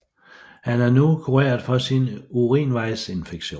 Han er nu kureret for sin urinvejsinfektion